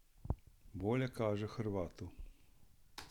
Bolje kaže Hrvatu.